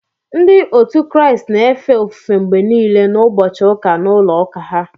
Ndị otu Kraịst na-efe ofufe mgbe nile n'ụbọchị ụka n’ulo ụka ha